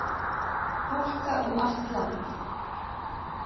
Hálka um allt land